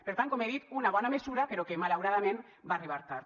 per tant com he dit una bona mesura però que malauradament va arribar tard